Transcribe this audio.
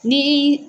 Ni